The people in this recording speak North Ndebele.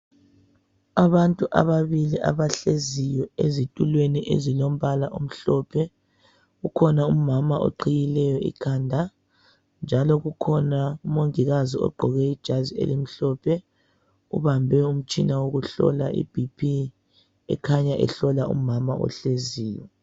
Abantu ababili abahleziyo ezitulweni ezilombala omhlophe kukhona umama oqhiyileyo ikhanda njalo kukhona umongikazi ogqoke ijazi elimhlophe ubambe umtshina wokuhlola ibp ekhanya ehlola umama ohleziyo.